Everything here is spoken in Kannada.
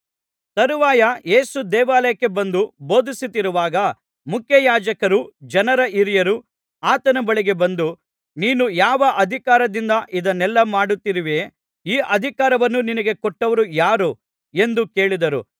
ತರುವಾಯ ಯೇಸು ದೇವಾಲಯಕ್ಕೆ ಬಂದು ಬೋಧಿಸುತ್ತಿರುವಾಗ ಮುಖ್ಯಯಾಜಕರೂ ಜನರ ಹಿರಿಯರೂ ಆತನ ಬಳಿಗೆ ಬಂದು ನೀನು ಯಾವ ಅಧಿಕಾರದಿಂದ ಇದನ್ನೆಲ್ಲಾ ಮಾಡುತ್ತಿರುವೆ ಈ ಅಧಿಕಾರವನ್ನು ನಿನಗೆ ಕೊಟ್ಟವರು ಯಾರು ಎಂದು ಕೇಳಿದರು